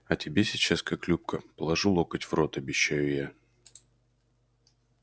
я тебе сейчас как любка положу локоть в рот обещаю я